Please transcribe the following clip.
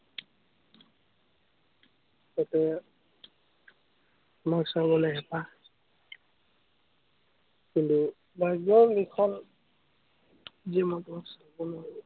এতিয়া মোৰ চাবলে হেপাহ কিন্তু, মই একদম নিসন্দেহ